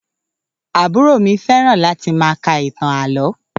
Àbúrò mi fẹ́ràn láti máa ka ìtàn àlọ́